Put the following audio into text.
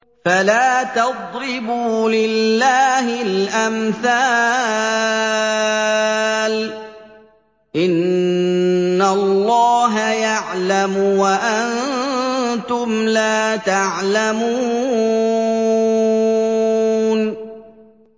فَلَا تَضْرِبُوا لِلَّهِ الْأَمْثَالَ ۚ إِنَّ اللَّهَ يَعْلَمُ وَأَنتُمْ لَا تَعْلَمُونَ